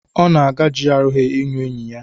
Ọ na-aga GRA ị hụ enyi ya.